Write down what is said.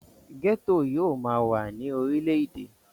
gẹ́tò yóò máa wà ní orile-èdè